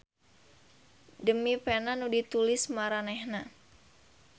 Demi pena nu ditulis maranehna.